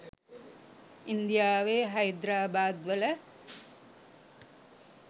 ඉන්දියාවේ හයිද්‍රාබාද් වල